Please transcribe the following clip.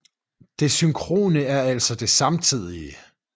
Det synkrone er altså det samtidige